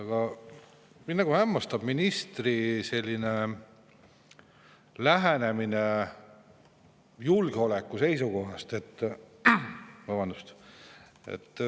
Aga mind hämmastab ministri selline lähenemine julgeoleku seisukohast.